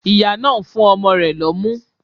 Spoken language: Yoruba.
Ìyá náà nfún ọmọ rẹ̀ lọ́mú